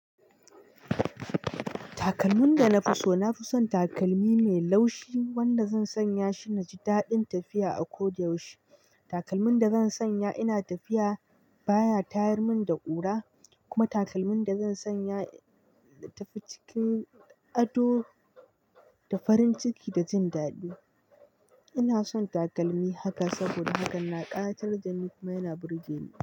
Takalmin da na fi so, na fi son takalmi mai laushi wanda zan sanya shi na ji daɗin tafiya a kodayaushe. Takalmin da zan sanya ina tafiya baya tayar min da ƙura. Kuma takalmin da zan sanya na tafi cikin ado da farin ciki da jin daɗi. Ina son takalmi haka saboda haka na ƙayatar da ni kuma yana burge ni.